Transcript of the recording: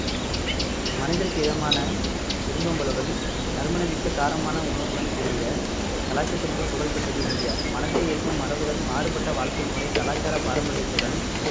மனதிற்கு இதமான விருந்தோம்பலுடன் நறுமணமிக்க காரமான உணவுடன் கூடிய கலாச்சத்திற்கு புகழ் பெற்றது இந்தியா மனதை ஈர்க்கும் மரபுகள் மாறுபட்ட வாழ்க்கை முறை கலாச்சார பாரம்பரியத்துடன்